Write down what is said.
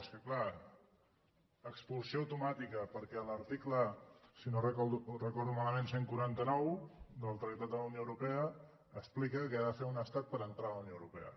és que clar expulsió automàtica perquè l’article si no ho recordo malament cent i quaranta nou del tractat de la unió europea explica què ha de fer un estat per entrar a la unió europea